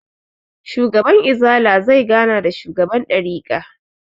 Shugaban izala zai gana da shugaban ɗarika